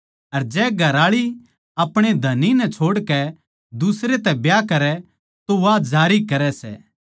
अर जै घरआळी आपणे धणी नै छोड़कै दुसरे तै ब्याह करै तो वा जारी करै सै